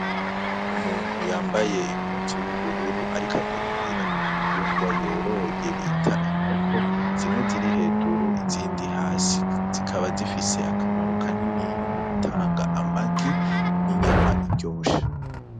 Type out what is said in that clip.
Umuntu yambaye impuzu y'ubururu ariko agaburira ibitungwa yoroye bita inkoko Zimwe ziri hejuru izindi hasi zikaba zifise akamaro kaniniya mugutanga amagi n'inyama iryoshe.